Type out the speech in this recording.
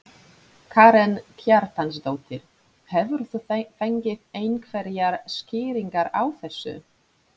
Karen Kjartansdóttir: Hefur þú fengið einhverjar skýringar á þessu?